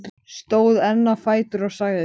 Ég man það líka, að ég var blankandi edrú.